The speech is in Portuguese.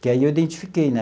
Que aí eu identifiquei, né?